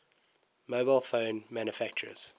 mobile phone manufacturers